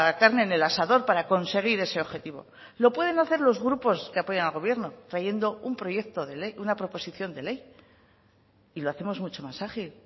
carne en el asador para conseguir ese objetivo lo pueden hacer los grupos que apoyan al gobierno trayendo un proyecto de ley una proposición de ley y lo hacemos mucho más ágil